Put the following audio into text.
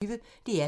DR P1